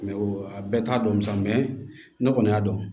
a bɛɛ t'a dɔn sa ne kɔni y'a dɔn